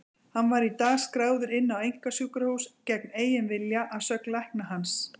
Hann var í dag skráður inn á einkasjúkrahús gegn eigin vilja, að sögn lækna hans.